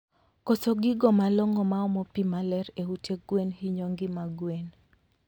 Koso gigo malongo maomo pii maler e ute gwen hinyo ngima gwen